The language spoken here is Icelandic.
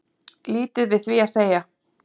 Lítið við því að segja